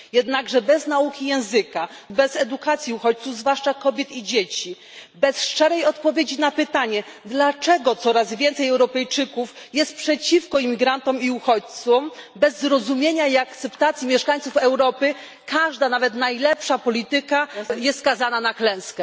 Jednakże bez nauki języka, bez edukacji uchodźców, zwłaszcza kobiet i dzieci, bez szczerej odpowiedzi na pytanie dlaczego coraz więcej Europejczyków jest przeciwko imigrantom i uchodźcom, bez zrozumienia i akceptacji mieszkańców Europy każda, nawet najlepsza polityka, jest skazana na klęskę.